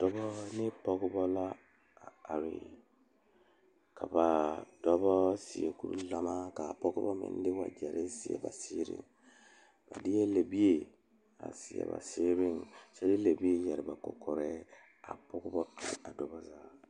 Dɔɔba bayi ane pɔgeba bayi la a laŋ zeŋ a dɔɔ kaŋ naŋ seɛ traza pelaa pegle la gane o nu poɔ ane magdalee a pɔge kaŋa meŋ zeŋ la koo niŋe soga ba saa kyɛ kaa dɔɔ kaŋa ane a pɔge kaŋa gyan yizeŋ a zaa.